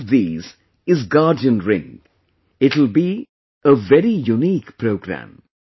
One of these is Guardian Ring it will be a very unique programme